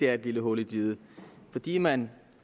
er et lille hul i diget og fordi man